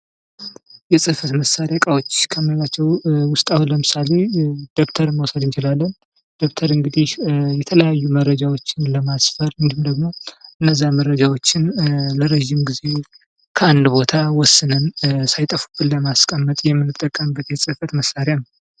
የፅህፈት መሳሪያ እቃዎች ከምንላቸው ዉስጥ አሁን ለምሳሌ ደብተርን መውሰድ እንችላለን:: ደብተር እንግዲህ የተለያዩ መረጃዎችን ለማስፈር እንዲሁም ደግሞ እነዛን መረጃዎችን ለረጅም ጊዜ ካንድ ቦታ ወስነን ሳይጠፉብን ለማስቀመጥ የምንጠቀምበት የፅህፈት መሳሪያ ነው::